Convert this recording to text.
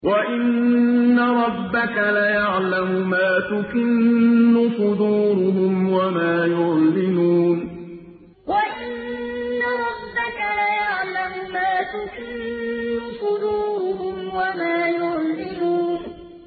وَإِنَّ رَبَّكَ لَيَعْلَمُ مَا تُكِنُّ صُدُورُهُمْ وَمَا يُعْلِنُونَ وَإِنَّ رَبَّكَ لَيَعْلَمُ مَا تُكِنُّ صُدُورُهُمْ وَمَا يُعْلِنُونَ